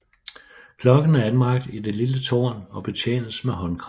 Klokken er anbragt i det lille tårn og betjenes med håndkraft